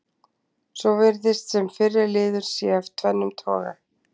Svo virðist sem fyrri liður sé af tvennum toga.